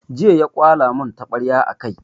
Jiya ya kwala mun taɓarya a kai